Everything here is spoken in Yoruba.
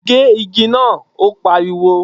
Gé igi náà! Ó pariwo.